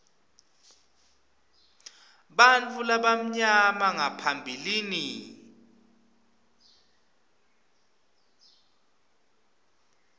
bantfu labamnyama ngaphambilini